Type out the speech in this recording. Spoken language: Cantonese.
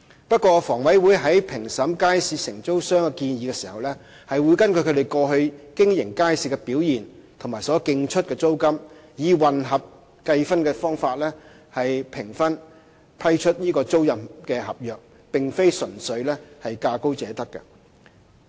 不過，房委會在評審街市承租商的建議時，會根據其過去經營街市的表現及所競出的租金，以混合計分的方法評分批出租賃合約，並非純粹價高者得。